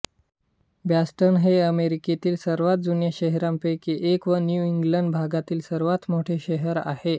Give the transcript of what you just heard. Boston हे अमेरिकेतील सर्वांत जुन्या शहरांपैकी एक व न्यू इंग्लंड भागातील सर्वांत मोठे शहर आहे